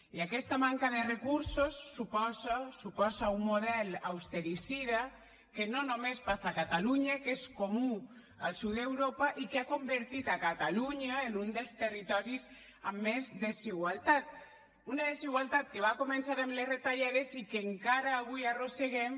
i aquesta manca de recursos suposa un model austericida que no només passa a catalunya que és comú al sud d’europa i que ha convertit catalunya en un dels territoris amb més desigualtat una desigualtat que va començar amb les retallades i que encara avui arrosseguem